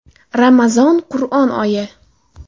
Ramazon– Qur’on oyi!